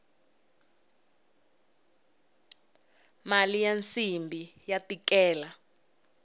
mali ya nsimbhi ya tikela